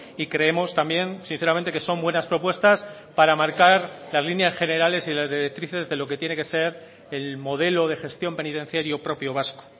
y creemos también sinceramente que son buenas propuestas para marcar las líneas generales y las directrices de lo que tiene que ser el modelo de gestión penitenciario propio vasco